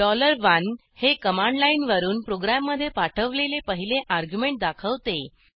1डॉलर एकहे कमांड लाईनवरून प्रोग्रॅममधे पाठवलेले पहिले अर्ग्युमेंट दाखवते